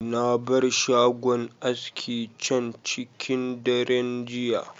Na bar shagon aski can cikin daren jiya.